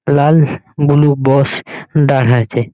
লাল blue বস ডাঘাইছে।